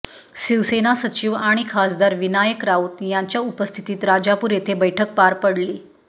शिवसेना सचिव आणि खासदार विनायक राऊत यांच्या उपस्थितीत राजापूर येथे बैठक पार पडली